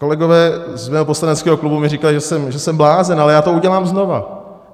Kolegové z mého poslaneckého klubu mi říkají, že jsem blázen, ale já to udělám znova.